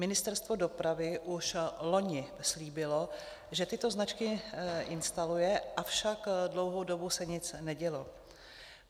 Ministerstvo dopravy už loni slíbilo, že tyto značky instaluje, avšak dlouhou dobu se nic nedělo.